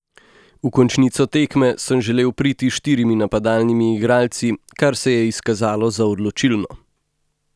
V končnico tekme sem želel priti s štirimi napadalnimi igralci, kar se je izkazalo za odločilno.